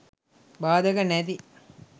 බාධක නැති